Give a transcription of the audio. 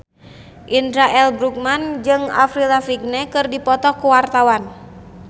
Indra L. Bruggman jeung Avril Lavigne keur dipoto ku wartawan